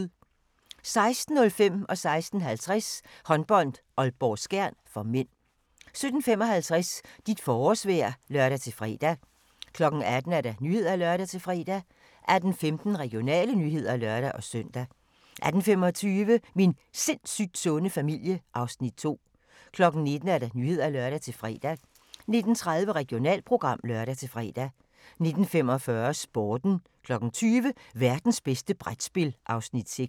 16:05: Håndbold: Aalborg-Skjern (m) 16:50: Håndbold: Aalborg-Skjern (m) 17:55: Dit forårsvejr (lør-fre) 18:00: Nyhederne (lør-fre) 18:15: Regionale nyheder (lør-søn) 18:25: Min sindssygt sunde familie (Afs. 2) 19:00: Nyhederne (lør-fre) 19:30: Regionalprogram (lør-fre) 19:45: Sporten 20:00: Værtens bedste brætspil (Afs. 6)